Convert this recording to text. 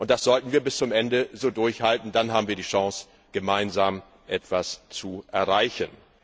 Das sollten wir bis zum Ende so durchhalten, dann haben wie die Chance, gemeinsam etwas zu erreichen.